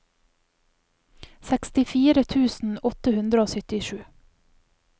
sekstifire tusen åtte hundre og syttisju